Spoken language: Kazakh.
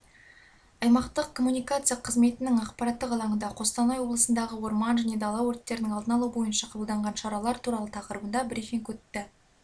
аймақтық коммуникация қызметінің ақпараттық алаңында қостанай облысындағы орман және дала өрттерінің алдын алу бойынша қабылданған шаралар туралы тақырыбында брифинг өтті